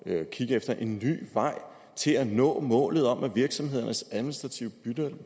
at kigge efter en ny vej til at nå målet om at virksomhedernes administrative